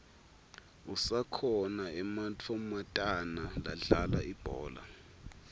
asakhona ematfomatana ladlala ibhola